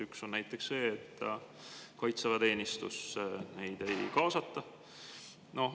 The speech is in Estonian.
Üks on näiteks see, et kaitseväeteenistusse neid ei kaasata.